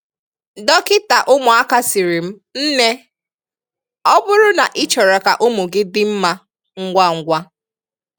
Dọkịta ụmụaka sịrị m "nne, ọ bụrụ na ị chọrọ ka ụmụ gị dị mma ngwangwa